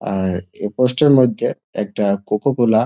আট এই পোস্টের -এর মধ্যে একটি কোকো কোলা ।